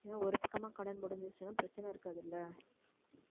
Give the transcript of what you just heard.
இன்னும் ஒரு பக்கமா கடன் முடிஞ்சிருச்சுன்னா பிரச்சனை இருக்காதில்ல